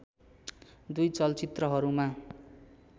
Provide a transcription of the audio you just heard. दुई चलचित्रहरूमा